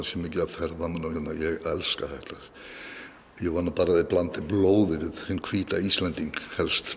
svo mikið af ferðamönnum ég elska þetta ég vona bara að þeir blandi blóði við hinn hvíta Íslending